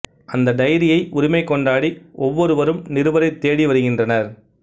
அந்த டைரியை உரிமை கொண்டாடி ஒவ்வொருவரும் நிருபரைத் தேடி வருகின்றனர்